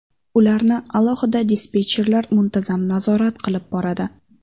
Ularni alohida dispetcherlar muntazam nazorat qilib boradi.